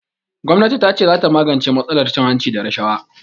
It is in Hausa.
Gwamnatin tace zata magance matsalar cin hanci da rashawa.